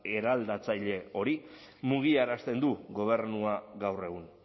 eraldatzaile hori mugiarazten du gobernua gaur egun